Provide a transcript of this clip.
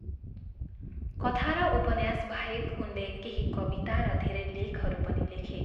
कथा र उपन्यासबाहेक उनले केही कविता र धेरै लेखहरू पनि लेखे।